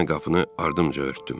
Mən qapını ardımca örtdüm.